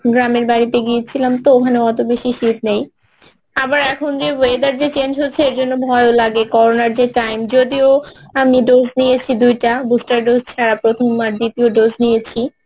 গ্রামের বাড়িতে গিয়েছিলাম তো ওখানে অত বেশি শীত নেই আবার এখন যে weather change হচ্ছে ঐজন্যে ভয়ও লাগে করোনার যে time যদিও আমি dose নিয়েছি দুইটা booster dose ছাড়া প্রথম আর দ্বিতীয় dose নিয়েছি